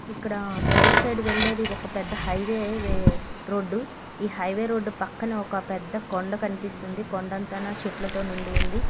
ఇక్కడ right side వెళ్ళేది ఒక పెద్ద హైవే-వే రోడ్డు ఈ హై_వే_ రోడ్డు పక్కన ఒక పెద్ద కొండ కనిపిస్తుంది. కొండంత నా చెట్లతో నిండి ఉంది.